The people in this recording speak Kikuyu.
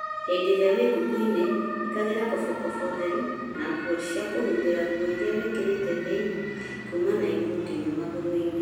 Hĩndĩ ĩrĩa wĩ ngũkũ-inĩ ĩkĩraga kobokobo theru na nguo cia kũhumbĩra nguo iria wĩkĩrĩte thĩinĩ kuma na igũrũ nginya magũrũ -inĩ.